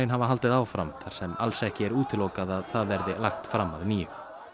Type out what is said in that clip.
hafa haldið áfram þar sem alls ekki er útilokað að það verði lagt fram að nýju